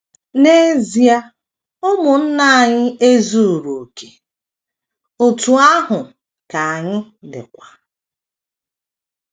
N’ezia, ụmụnne anyị ezuru okè, otú ahụ ka anyị dịkwa.